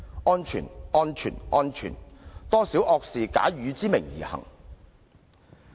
"安全、安全、安全"，多少惡事假汝之名而行。